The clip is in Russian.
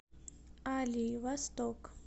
али восток